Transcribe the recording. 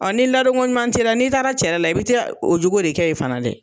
ni ladon koɲuman ti la, n'i taara cɛla la i bɛ taa o jogo de kɛ yen fana dɛ.